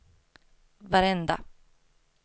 varenda